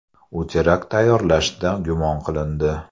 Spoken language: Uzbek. U terakt tayyorlashda gumon qilindi.